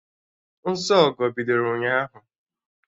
Nsọ Ọgọ bidoro ụnyaahụ